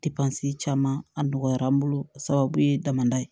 caman a nɔgɔyara an bolo a sababu ye daman ye